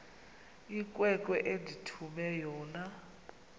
inkwenkwe endithume yona